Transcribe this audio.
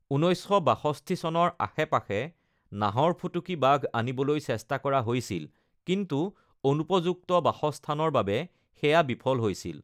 ১৯৬২ চনৰ আশে-পাশে নাহৰফুটুকী বাঘ আনিবলৈ চেষ্টা কৰা হৈছিল, কিন্তু অনুপযুক্ত বাসস্থানৰ বাবে সেয়া বিফল হৈছিল।